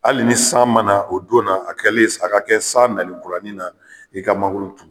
Hali ni san man na o don na a kɛlen a ka kɛ san nali kuranin na i ka mangoro turu.